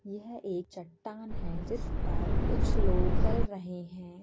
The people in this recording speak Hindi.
यह एक चट्टान है जिस पर कुछ लोग चल रहे हैं।